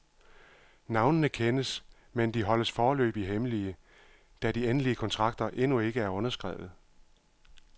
Navnene kendes, men de holdes foreløbig hemmelige, da de endelige kontrakter endnu ikke er underskrevet.